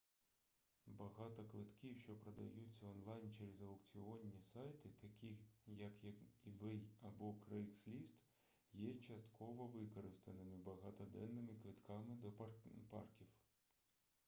багато квитків що продаються онлайн через аукціонні сайти такі як ebay або craigslist є часткововикористаними багатоденними квитками до парків